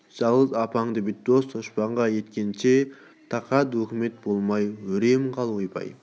жалғыз апаңды бүйтіп дос-дұшпанға таба еткенше тақа өкімет болмай өрем қап ойбай